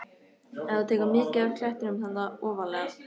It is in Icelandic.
Ef þú tekur mið af klettinum þarna ofarlega.